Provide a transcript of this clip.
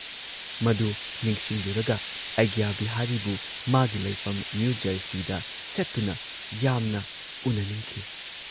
ꯃꯗꯨ ꯅꯤꯡꯁꯤꯡꯂꯨꯔꯒ ꯑꯩꯒ꯭ꯌꯥ ꯕꯤꯍꯥꯔꯤꯕꯨ ꯃꯥꯒꯤ ꯂꯩꯐꯝ ꯅ꯭ꯌꯨ ꯖꯔꯁꯤꯗ ꯆꯠꯇꯨꯅ ꯌꯥꯝꯅ ꯎꯟꯅꯅꯤꯡꯈꯤ ꯫